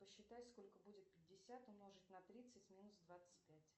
посчитай сколько будет пятьдесят умножить на тридцать минус двадцать пять